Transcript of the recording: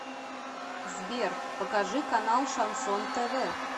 сбер покажи канал шансон тв